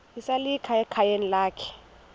esalika ekhayeni lakhe